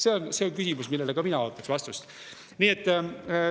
See on see küsimus, millele ka mina ootaksin vastust.